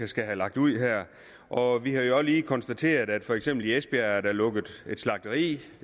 skal have lagt ud og vi har jo også lige konstateret at der for eksempel i esbjerg er lukket et slagteri det